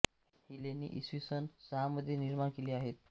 ही लेणी इसवी सन सहा मध्ये निर्माण केली आहेत